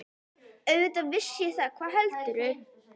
Auðvitað vissi ég það, hvað heldurðu!